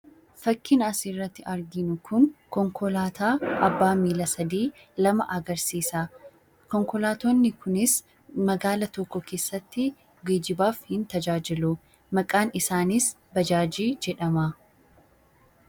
Fakkiin asirratti arginu kun konkolaataa abbaa miilla sadii lama agarsiisa. Konkolaattonni kunis magaala tokko keessatti geejjibaaf hin tajaajilu. Maqaan isaaniis 'Baajaajii' jedhama.